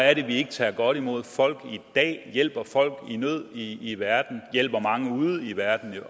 er det vi ikke tager godt imod folk i dag hjælper folk i nød i i verden og også hjælper mange ude i verden